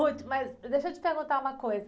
mas deixa eu te perguntar uma coisa.